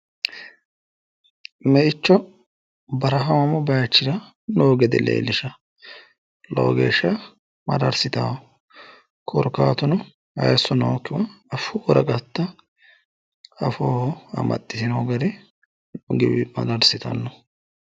Me"icho barahaamu bayiichira noo gede leellishawo lowo geeshsha mararsitayo korkaatuno hayiisso nookkiwa affu woraqatta afooho amaxxtiino gari mararsitanno